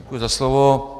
Děkuji za slovo.